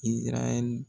Izarayɛli